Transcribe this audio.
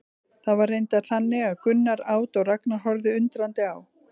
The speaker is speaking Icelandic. Það var reyndar þannig að Gunnar át og Ragnar horfði undrandi á.